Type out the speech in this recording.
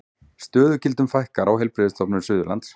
Stöðugildum fækkar á Heilbrigðisstofnun Suðurlands